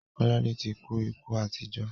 Kọ́ládé ti kú ikú àìtọ́jọ́.